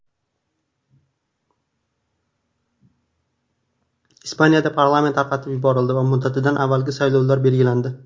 Ispaniyada parlament tarqatib yuborildi va muddatidan avvalgi saylovlar belgilandi.